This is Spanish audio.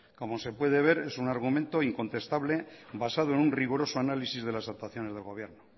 como se puede ver es un argumento incontestable basado en un riguroso análisis de las actuaciones del gobierno